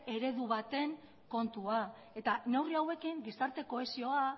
eredu baten kontua da eta neurri hauekin gizarte kohesioa